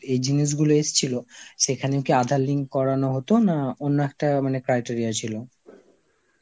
এই জিনিসগুলো এসছিল, সেখানে কি আধার link করানো হতো না অন্য একটা মানে criteria ছিল?